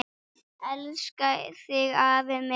Elska þig afi minn.